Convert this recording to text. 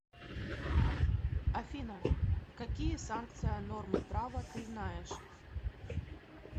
афина какие санкция нормы права ты знаешь